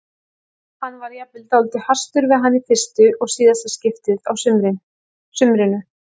Hann varð jafnvel dálítið hastur við hana í fyrsta og síðasta skiptið á sumrinu.